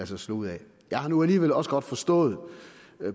sig slå ud af jeg har nu alligevel også godt forstået